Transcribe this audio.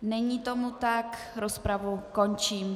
Není tomu tak, rozpravu končím.